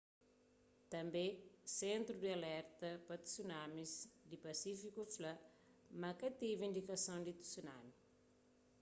tânbe sentru di alerta pa tsunamis di pasífiku fla ma ka tevi indikason di tsunami